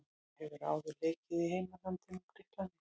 Hún hefur áður leikið í heimalandinu og Grikklandi.